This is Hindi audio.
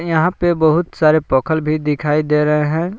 यहां पे बहुत सारे पखल भी दिखाई दे रहे हैं।